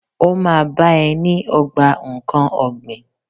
Ó ma bá ẹ ní ogbà nkán ọ̀gbìn.